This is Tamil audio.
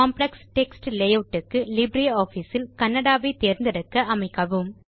காம்ப்ளெக்ஸ் டெக்ஸ்ட் லேயூட் க்கு லிப்ரியாஃபிஸ் இல் கன்னடா வை தேர்ந்தெடுக்க அமைக்கவும்